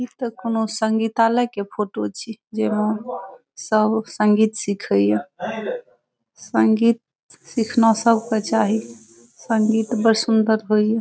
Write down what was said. इ ते कोनो संगीतालय के फोटो छी जे मे सब संगीत सीखे ये संगीत सीखना सबके चाही संगीत बड़ सुंदर होय ये।